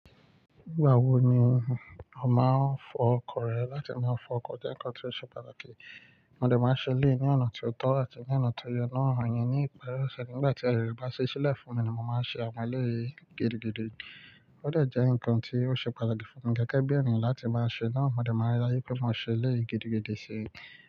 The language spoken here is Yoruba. Nígbà wo ni a máa ń fọ ọkọ̀ rẹ láti máa fọ ọkọ̀ jẹ́ nǹkan tí ó ṣe pàtàkì? Mo dẹ máa ń ṣe eleyii ní ọ̀nà tó tọ́ àti ní ọ̀nà tó yẹ naa. Àwọn ènìyàn ní ìparí ọ̀sẹ̀ nígbà tí aye bá ṣí sílẹ̀ fún mi ni mo máa ń ṣe àwọn eleyii gidi gidi. Ó dẹ jẹ́ ǹkan tí ó ṣe pàtàkì fún mi gẹ́gẹ́ bí ènìyàn láti máa ṣe naa. Amọ mo dẹ máa ń ri daju pé mó ṣe eleyii gidi gidi sí.